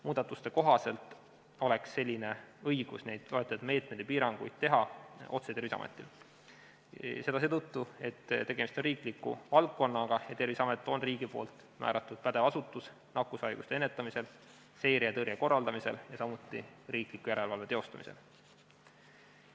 Muudatuste kohaselt oleks selline õigus neid loetletud meetmeid võtta ja piiranguid kehtestada otse Terviseametil, seda seetõttu, et tegemist on riikliku valdkonnaga ja Terviseamet on riigi määratud pädev asutus nakkushaiguste ennetamisel, seire ja tõrje korraldamisel ning samuti riikliku järelevalve tegemisel.